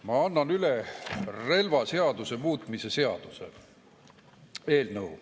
Ma annan üle relvaseaduse muutmise seaduse eelnõu.